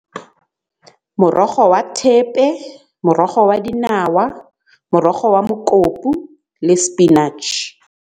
Morogo wa thepe, morogo wa dinawa, morogo wa mokopu le spinach.